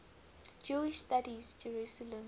jewish studies jerusalem